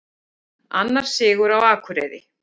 Annar sigur hjá Akureyri